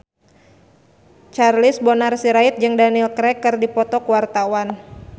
Charles Bonar Sirait jeung Daniel Craig keur dipoto ku wartawan